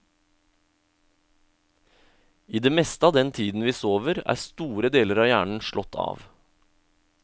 I det meste av den tiden vi sover, er store deler av hjernen slått av.